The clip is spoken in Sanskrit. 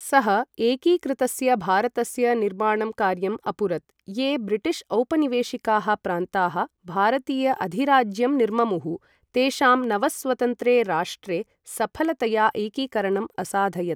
सः एकीकृतस्य भारतस्य निर्माणं कार्यम् अपुरत्, ये ब्रिटिश् औपनिवेशिकाः प्रान्ताः भारतीय अधिराज्यं निर्ममुः, तेषां नवस्वतन्त्रे राष्ट्रे सफलतया एकीकरणम् असाधयत्।